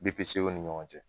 BPCO ni ɲɔgɔn cɛ